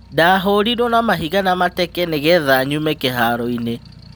Ndahũũrirũo na mahiga na mateke nĩgetha nyume kĩhaaro-inĩ'